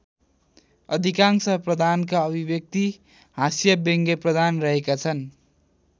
अधिकांश प्रधानका अभिव्यक्ति हाँस्य व्यङ्ग्यप्रधान रहेका छन्।